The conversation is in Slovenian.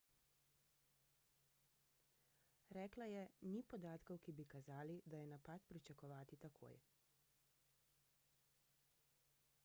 rekla je ni podatkov ki bi kazali da je napad pričakovati takoj